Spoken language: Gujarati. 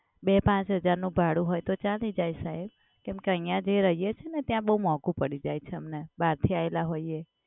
બે પાંચ હજારનું ભાડું હોય તો ચાલી જાય સાહેબ. કેમ કે અહિયાં જે રહીએ છે ને ત્યાં બોવ મોંઘું પડી જાય છે અમને બહારથી આયેલા હોઈએ.